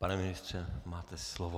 Pane ministře, máte slovo.